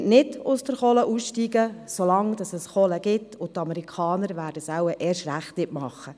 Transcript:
Polen wird nicht aus der Kohle aussteigen, solange es Kohle gibt, und die Amerikaner würden es wohl erst recht nicht machen.